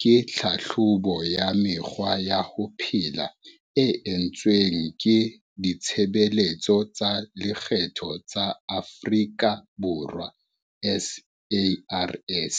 ke tlhatlhobo ya mekgwa ya ho phela e entsweng ke Ditshebeletso tsa Lekgetho tsa Afrika Borwa, SARS.